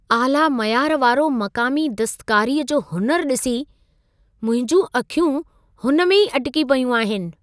आला मयार वारो मक़ामी दस्तकारीअ जो हुनुरु ॾिसी, मुंहिंजूं अखियूं हुन में ई अटिकी पयूं आहिनि।